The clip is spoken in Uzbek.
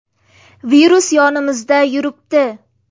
Virus yonimizda yuribdi.